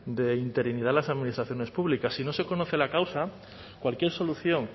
de interinidad en las administraciones públicas si no se conoce la causa cualquier solución